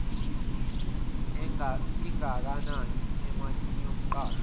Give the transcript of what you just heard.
engakanani emalini yomqashwa